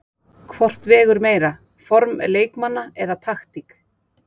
Hvort vegur meira, form leikmanna eða taktík?